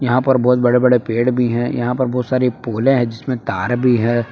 यहां पर बहुत बड़े बड़े पेड़ भी हैं यहां पर बहुत सारी पोले हैं जिसमे तार भी है।